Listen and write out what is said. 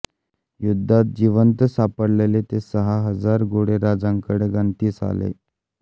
युद्धात जिवंत सापडले ते सहा हजार घोडे राजांकडे गणतीस आले